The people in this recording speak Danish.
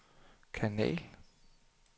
kanal